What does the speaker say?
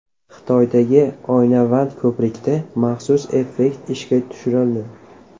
Xitoydagi oynavand ko‘prikda maxsus effekt ishga tushirildi.